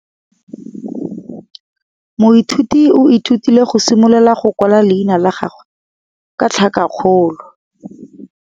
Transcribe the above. Moithuti o ithutile go simolola go kwala leina la gagwe ka tlhakakgolo.